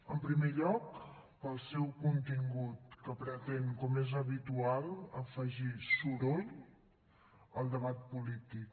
en primer lloc pel seu contingut que pretén com és habitual afegir soroll al debat polític